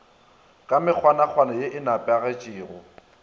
ka mekgwanakgwana ye e nepagetpego